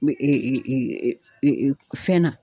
fɛn na.